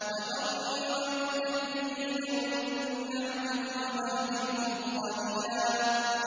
وَذَرْنِي وَالْمُكَذِّبِينَ أُولِي النَّعْمَةِ وَمَهِّلْهُمْ قَلِيلًا